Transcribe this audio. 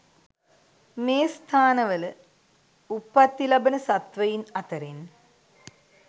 මේ ස්ථානවල උප්පත්ති ලබන සත්වයින් අතරෙන්